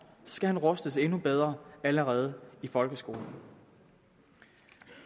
skal han rustes endnu bedre allerede i folkeskolen